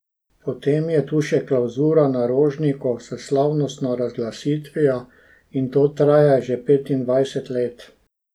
Potem je tu še klavzura na Rožniku s slavnostno razglasitvijo in to traja že petindvajset let.